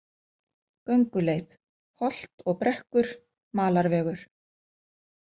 Gönguleið: holt og brekkur, malarvegur.